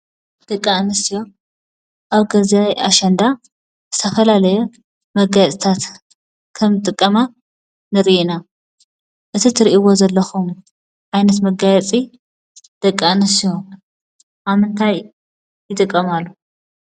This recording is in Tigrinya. ደቂ ኣንስትዮ ኣብ ግዜ ኣሸንዳ ዝተፈላለየ መጋየፅታት ከምዝጥቀማ ንርኢ ኢና ።እዚ ትርእይዎ ዘለኩም ዓይነት መጋየፂ ደቂ ኣንስትዯ ኣብ ምንታይ ይጥቀማሉ?